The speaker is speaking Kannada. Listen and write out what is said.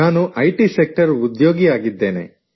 ನಾನು ಐ ಟಿ ಸೆಕ್ಟರ್ ಉದ್ಯೋಗಿಯಾಗಿದ್ದೇನೆ